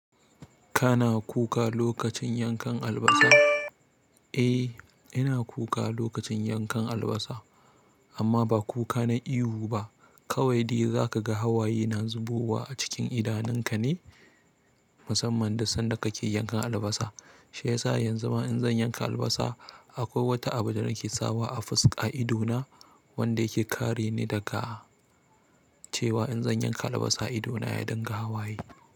Kana kuka lokacin yankan albasa? Eh, ina kuka lokacin yankan albasa, amma ba kuka na ihu ba. Kawai dai za ka ga hawaye na zubowa a cikin idanun ka ne musamman da sanda ka ke yankan albasa. Shi yasa yanzu ma in zan yanka albasa, akwai wata abu da nake sawa a fus a ido na wanda yake kare ni daga cewa in zan yanka albasa ido na ya dinga hawaye.